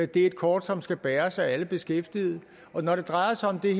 det er et kort som skal bæres af alle beskæftigede når det drejer sig om det